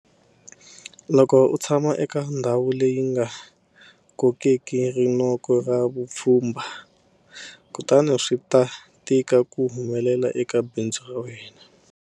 Loko u tshama eka ndhawu leyi nga kokeki ri -noko ra vapfhumba, kutani swi ta tika ku humelela eka bindzu ra wena.